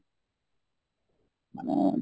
ମାନେ